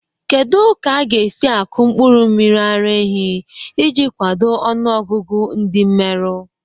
Kedu ka a ga-esi akụ mkpụrụ mmiri ara ehi iji kwado ọnụ ọgụgụ ndi mmeru?